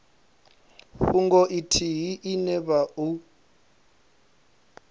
fhungo ithihi ine vha o